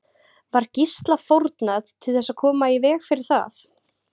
Var Gísla fórnað til þess að koma í veg fyrir það?